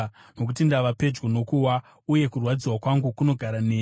Nokuti ndava pedyo nokuwa, uye kurwadziwa kwangu kunogara neni.